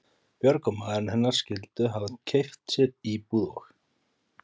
Björg og maðurinn hennar skyldu hafa keypt sér íbúð og